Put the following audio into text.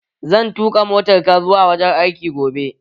Zan tuƙa motar ka zuwa wurin aiki gobe